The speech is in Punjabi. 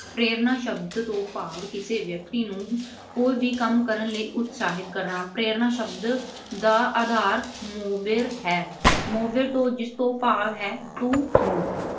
ਪ੍ਰੇਰਨਾ ਸ਼ਬਦ ਤੋਂ ਭਾਵ ਕਿਸੇ ਵਿਅਕਤੀ ਨੂੰ ਕੋਈ ਵੀ ਕੰਮ ਕਰਨ ਲਈ ਉਤਸ਼ਾਹਿਤ ਕਰਨਾ। ਪ੍ਰੇਰਨਾ ਸ਼ਬਦ ਦਾ ਆਧਾਰ ਆਹ mover ਹੈ। mover ਜਿਸ ਤੋਂ ਭਾਵ ਹੈ do move